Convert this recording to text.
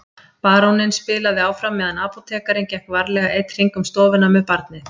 Baróninn spilaði áfram meðan apótekarinn gekk varlega einn hring um stofuna með barnið.